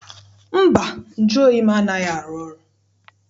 Mba, nju oyi m anaghị arụ ọrụ.